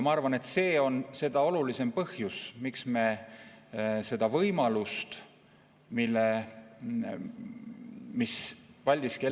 Ma arvan, et seda olulisem on võimalust, mida Paldiski terminal pakub.